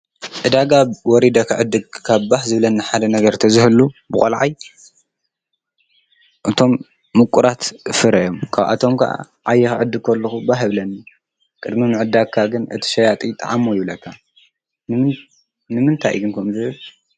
ዕዳጋ ወሪደ ክዕድግ ካብ ባህ ዝብለኒ ሓደ ነገራት ተዝህሉ ብቆልዓይ እቶም ምቁራት ፍረ እዮም። ካብኣቶም ከዓ ዓየ ክዕድግ ከለኹ ባህ ይብለኒ። ቅድሚ ምዕዳካ ግን እቲ ሸያጢ ጣዓሞ ይብልካ ንምንታይ እዩ ከምኡ ዝብል?